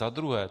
Za druhé.